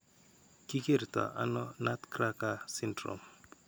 Ki kerto ano Renal nutcracker syndrome?